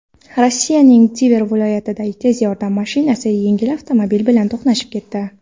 Rossiyaning Tver viloyatida tez yordam mashinasi yengil avtomobil bilan to‘qnashib ketdi.